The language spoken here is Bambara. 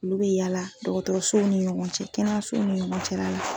Olu bi yala dɔkɔtɔrɔsow ni ɲɔgɔn cɛ, kɛnɛyasow ni ɲɔgɔn cɛla la